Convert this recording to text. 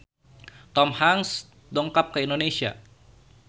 Tom Hanks dongkap ka Indonesia